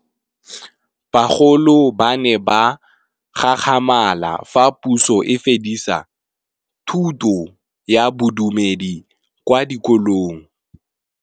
Bagolo ba ne ba gakgamala fa Pusô e fedisa thutô ya Bodumedi kwa dikolong.